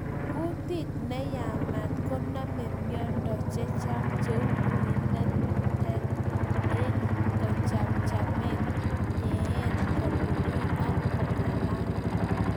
Kutit neyamat konami miondo chechang' cheu wuinatet eng kachamchamet, nyeet, kelugui ak keng'alal